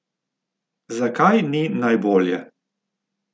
Zakaj ni najbolje?